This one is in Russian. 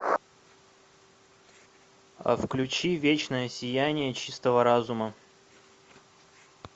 а включи вечное сияние чистого разума